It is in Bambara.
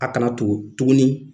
A kana tugu tuguni